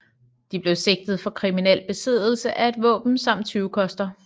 De blev sigtet for kriminel besiddelse af et våben samt tyvekoster